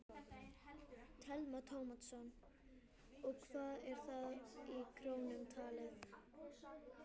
Telma Tómasson: Og hvað er það í krónum talið?